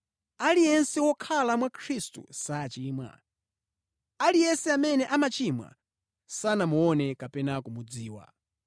Aliyense wokhala mwa Khristu sachimwa. Aliyense amene amachimwa sanamuone kapena kumudziwa.